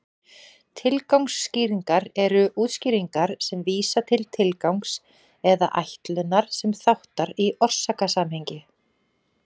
Tilgangsskýringar eru útskýringarnar sem vísa til tilgangs eða ætlunar sem þáttar í orsakasamhengi.